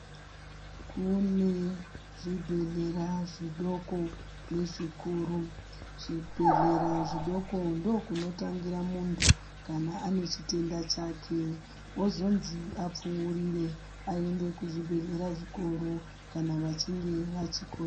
Kune zvibhedhlera zvidoko nezvikuru. Kuzvibhedhlera zvidoko ndokunotangira muntu kana ane chitenda chake, wozonzi apfuurire aende kuzvibhedhlera zvikuru kana vachinge vachiko.